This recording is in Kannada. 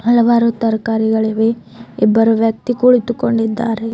ಹಲವಾರು ತರಕಾರಿಗಳಿವೆ ಇಬ್ಬರು ವ್ಯಕ್ತಿ ಕುಳಿತುಕೊಂಡಿದ್ದಾರೆ.